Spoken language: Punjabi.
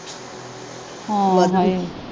ਹੋ ਹਾਏ।